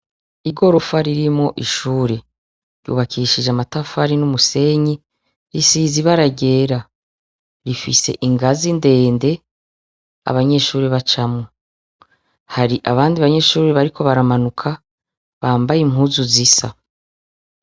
Igorofa ririmwo ishure ryubakishije amatafari n'umusenyi., Risize ibara ryera, rifise ingazi ndende abanyeshure bacamwo. Hari abandi banyeshure bariko baramanuka bambaye impuzu zisa.